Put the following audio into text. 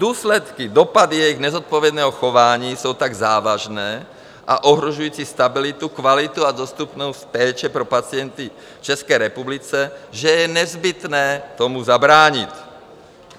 Důsledky, dopady jejich nezodpovědného chování jsou tak závažné a ohrožující stabilitu, kvalitu a dostupnost péče pro pacienty v České republice, že je nezbytné tomu zabránit.